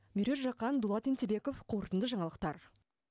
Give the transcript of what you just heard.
меруерт жақан дулат ентебеков қорытынды жаңалықтар